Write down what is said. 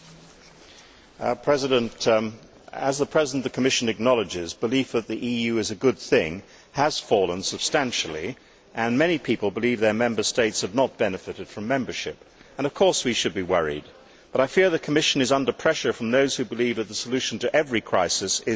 Mr President, as the President of the Commission acknowledges, belief that the EU is a good thing has fallen substantially, and many people believe their Member States have not benefited from membership. We should be worried, but I fear that the Commission is under pressure from those who believe that the solution to every crisis is more Europe.